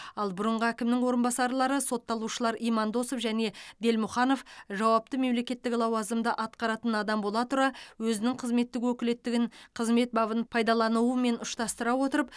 ал бұрынғы әкімнің орынбасарлары сотталушылар имандосов және делмұханов жауапты мемлекеттік лауазымды атқаратын адам бола тұра өзінің қызметтік өкілеттігін қызмет бабын пайдаланумен ұштастыра отырып